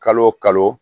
Kalo o kalo